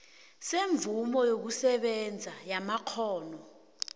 semvumo yokusebenza yamakghono